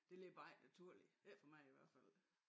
Det ligger bare ikke naturligt ikke for mig i hvert fald